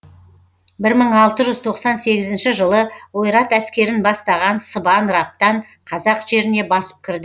бір мың алты жүз тоқсан сегізінші жылы ойрат әскерін бастаған сыбан раптан қазақ жеріне басып кірді